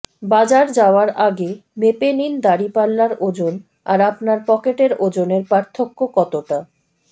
বাজার যাওয়ার আগে মেপে নিন দাঁড়িপাল্লার ওজন আর আপনার পকেটের ওজনের পার্থক্য কতটা